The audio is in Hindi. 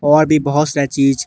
और भी बहोत से चीज--